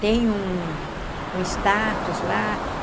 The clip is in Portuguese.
Tem um um status lá.